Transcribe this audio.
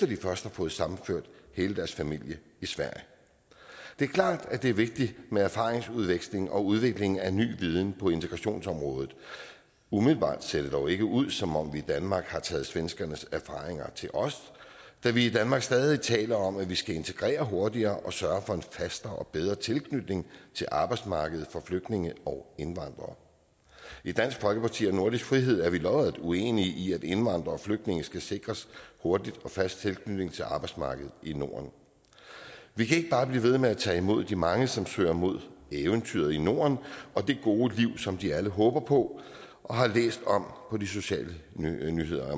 de først har fået sammenført hele deres familie i sverige det er klart at det er vigtigt med erfaringsudveksling og udvikling af ny viden på integrationsområdet umiddelbart ser det dog ikke ud som om vi i danmark har taget svenskernes erfaringer til os da vi i danmark stadig taler om at vi skal integrere hurtigere og sørge for en fastere og bedre tilknytning til arbejdsmarkedet for flygtninge og indvandrere i dansk folkeparti og nordisk frihed er vi lodret uenige i at indvandrere og flygtninge skal sikres hurtig og fast tilknytning til arbejdsmarkedet i norden vi kan ikke bare blive ved med at tage imod de mange som søger mod eventyret i norden og det gode liv som de alle håber på og har læst om på de sociale